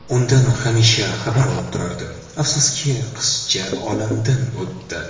Undan hamisha xabar olib turardi, afsuski, qizcha olamdan o‘tdi.